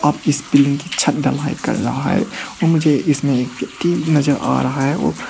इस बिल्डिंग की छत ढलाई कर रहा है और इसमें मुझे एक व्यक्ति नजर आ रहा है ओ--